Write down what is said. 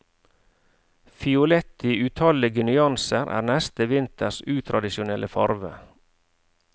Fiolett i utallige nyanser er neste vinters utradisjonelle farve.